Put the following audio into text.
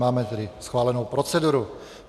Máme tedy schválenu proceduru.